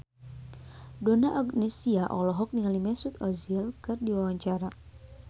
Donna Agnesia olohok ningali Mesut Ozil keur diwawancara